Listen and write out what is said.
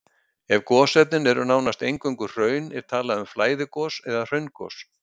Ef gosefnin eru nánast eingöngu hraun er talað um flæðigos eða hraungos.